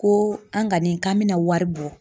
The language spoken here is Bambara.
Ko an ka nin k'an bɛna wari bɔ.